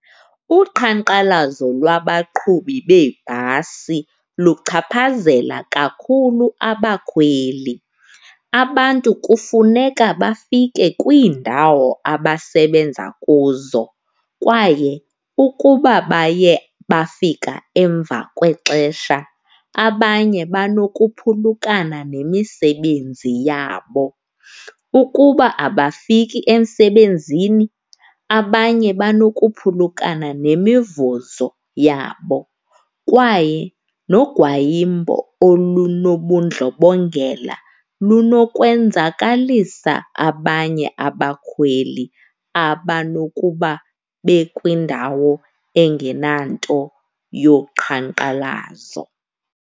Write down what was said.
Uqhankqalazo lwabaqhubi beebhasi luchaphazela kakhulu abakhweli. Abantu kufuneka bafike kwiindawo abasebenza kuzo kwaye ukuba baye bafika emva kwexesha, abanye banokuphulukana nemisebenzi yabo. Ukuba abafiki emsebenzini abanye banokuphulukana nemivuzo yabo kwaye nogwayimbo olunobundlobongela lunokwenzakalisa abanye abakhweli abanokuba bekwindawo engenanto yoqhankqalazo.